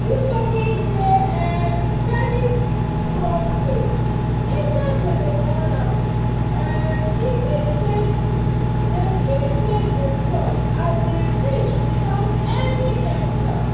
you suppose dey um bury crop waste instead to dey burn am make um e fit make the fit make the soil um rich without any chemicals